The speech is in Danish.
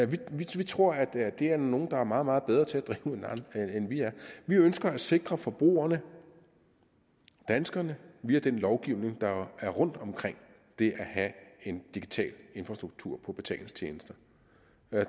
vi tror at det er der nogle der er meget meget bedre til at drive end vi er vi ønsker at sikre forbrugerne danskerne via den lovgivning der er rundtom det at have en digital infrastruktur på betalingstjenester